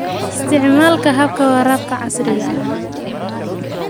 Isticmaalka habka waraabka casriga ah.